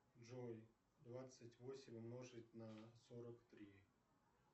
джой двадцать восемь умножить на сорок три